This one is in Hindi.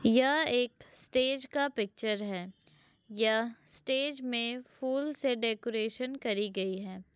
यह एक स्टेज का पिक्चर है। यह स्टेज में फूल से डेकोरेशन करी गई है।